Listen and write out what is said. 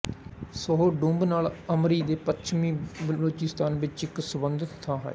ਸੋਹਰ ਡੂੰਬ ਨਾਲ ਅਮਰੀ ਦੇ ਪੱਛਮ ਵਿਚ ਬਲੋਚਿਸਤਾਨ ਵਿਚ ਇਕ ਸਬੰਧਤ ਥਾਂ ਹੈ